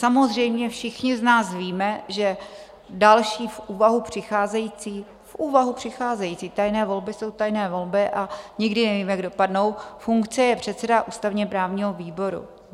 Samozřejmě všichni z nás víme, že další v úvahu přicházející - v úvahu přicházející, tajné volby jsou tajné volby a nikdy nevíme, jak dopadnou - funkce je předseda ústavně-právního výboru.